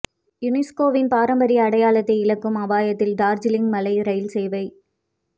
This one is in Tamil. யுனெஸ்கோவின் பாரம்பரிய அடையாளத்தை இழக்கும் அபாயத்தில் டார்ஜிலிங் மலை ரயில் சேவை